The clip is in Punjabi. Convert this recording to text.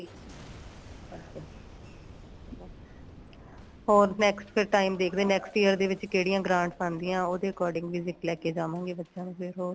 ਹੋਰ next ਫੇਰ time ਦੇਖਦੇ ਏ next year ਦੇ ਵਿੱਚ ਕਿਹੜੀਆ grants ਆਂਦੀਆਂ ਉਹਦੇ according visit ਲੈਕੇ ਜਾਵਾਂਗੇ ਬੱਚਿਆਂ ਨੂੰ ਫੇਰ ਹੋਰ